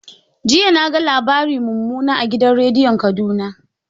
An ba yarda mumunan labari a gidan rediyon Kaduna.